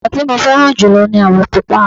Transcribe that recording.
àwọ̀ tí mo fẹ́ràn jùlọ ní àwọ̀ pupa